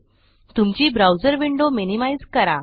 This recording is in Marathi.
तुमची ब्राउज़र विंडो मिनिमाइज़ करा